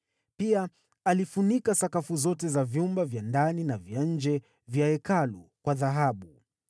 Pia alifunika sakafu zote za vyumba vya ndani na vya nje vya Hekalu kwa dhahabu.